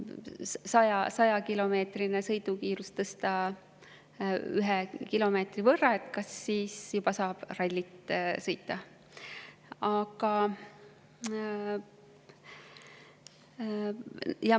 Kui sõidukiirust 100 kilomeetrit tõsta 1 kilomeetri võrra, kas siis juba saab rallit sõita?